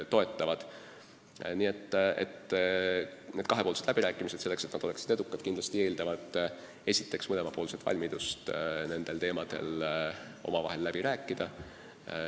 Nii et selleks, et need kahepoolsed läbirääkimised oleksid edukad, peab kindlasti olema esiteks mõlemapoolne valmidus nendel teemadel omavahel läbi rääkida.